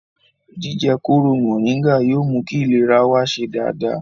Jíjẹ kóró mọ̀nríngà yóò mú kí ìlera wa ṣe dáadáa